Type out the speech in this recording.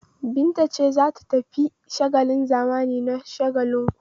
Binta ce za ta tafi shagon zamani na Shagalinku?